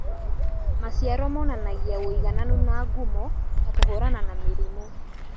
Maciaro monanagia wũigananu na ngumo ta kũhũrana na mĩrimũ